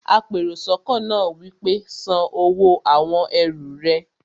apèròsọ́kọ́ náà wí pé, "san owó àwon ẹrù rẹ!